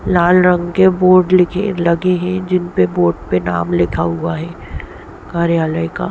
लाल रंग के बोर्ड लिखे लगे है जिनपे बोर्ड पे नाम लिखा हुआ है कार्यालय का--